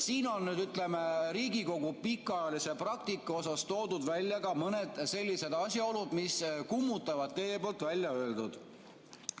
Siin on nüüd, ütleme, Riigikogu pikaajalise praktika osas toodud välja ka mõned sellised asjaolud, mis kummutavad teie väljaöeldut.